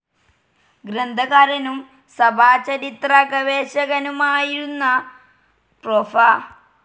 ഗ്രന്ഥകാരനും സഭാചരിത്ര ഗവേഷകനുമായിരുന്ന പ്രൊഫ.